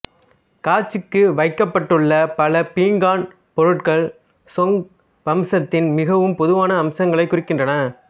காட்சிக்கு வைக்கப்பட்டுள்ள பல பீங்கான் பொருட்கள் சொங் வம்சத்தின் மிகவும் பொதுவான அம்சங்களைக் குறிக்கின்றன